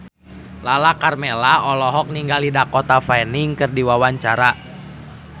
Lala Karmela olohok ningali Dakota Fanning keur diwawancara